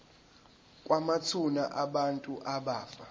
kwamathuna abantu abafa